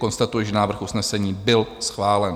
Konstatuji, že návrh usnesení byl schválen.